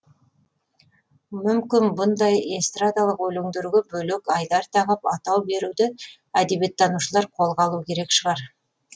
мүмкін бұндай эстрадалық өлеңдерге бөлек айдар тағып атау беруді әдебиеттанушылар қолға алу керек шығар